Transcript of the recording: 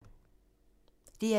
DR2